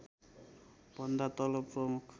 भन्दा तल प्रमुख